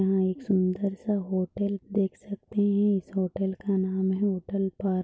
यहाँ एक सुंदर- सा एक होटल देख सकते है इस होटल का नाम होटल पार्थ --